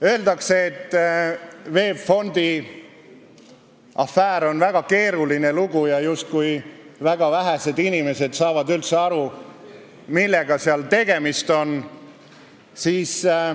Öeldakse, et VEB Fondi afäär on väga keeruline lugu ja justkui väga vähesed inimesed saavad üldse aru, millega seal tegemist on.